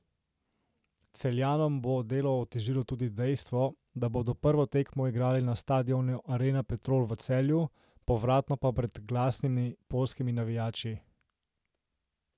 Celjanom bo delo otežilo tudi dejstvo, da bodo prvo tekmo igrali na stadionu Arena Petrol v Celju, povratno pa pred glasnimi poljskimi navijači.